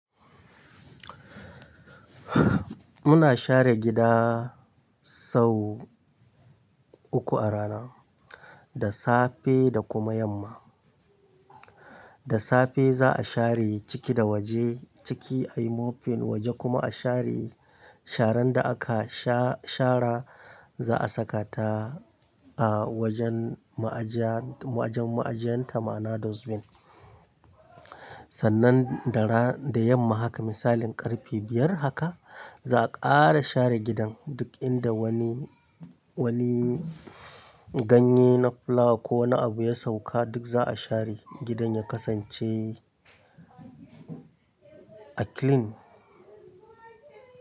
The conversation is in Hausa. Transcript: Muna share gida sau uku a rana, da safe da kuma yamma. Da safe za a share ciki da waje. Ciki a yi mopping, waje kuma a share. Sharan da aka sha-shara za a saka ta a wajen ma'aja-ma'ajan ma'ajiyan tama na dustbin. Sannan da ra-da yamma haka misalin ƙarfe biyar haka za a ƙara share gidan duk inda wani, wani ganye na fulawa ko na abu ya sauka duk za a share gidan ya kasance a clean.